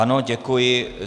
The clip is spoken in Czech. Ano, děkuji.